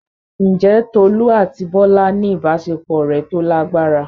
Ǹjẹ́ Tolú àti Bọ́lá ní ìbáṣepọ̀ ọ̀rẹ́ tó lágbára?